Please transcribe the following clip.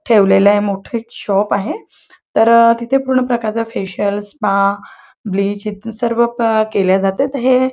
ठेवलेल मोठ एक शॉप आहे. तर तिथे पूर्ण प्रकारच फेशियल स्पा ब्लीच ईत सर्व प केले जातात तर हे--